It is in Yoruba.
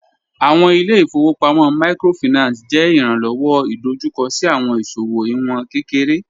Awọn ile-ifowopamọ Microfinance jẹ iranlọwọ idojukọ si awọn iṣowo iwọn kekere